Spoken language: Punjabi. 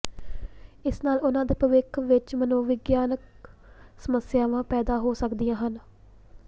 ਇਸ ਨਾਲ ਉਨ੍ਹਾਂ ਦੇ ਭਵਿੱਖ ਵਿੱਚ ਮਨੋਵਿਗਿਆਨਕ ਸਮੱਸਿਆਵਾਂ ਪੈਦਾ ਹੋ ਸਕਦੀਆਂ ਹਨ